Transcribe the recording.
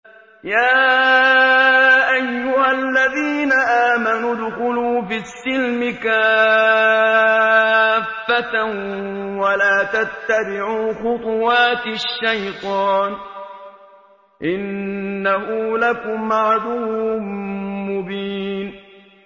يَا أَيُّهَا الَّذِينَ آمَنُوا ادْخُلُوا فِي السِّلْمِ كَافَّةً وَلَا تَتَّبِعُوا خُطُوَاتِ الشَّيْطَانِ ۚ إِنَّهُ لَكُمْ عَدُوٌّ مُّبِينٌ